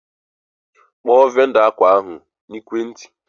Kpọọ vendọ akwa ahụ n'ekwenti!